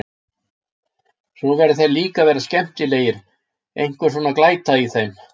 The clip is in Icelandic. Svo verða þeir líka að vera skemmtilegir, einhver svona glæta í þeim.